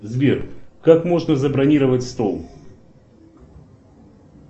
сбер как можно забронировать стол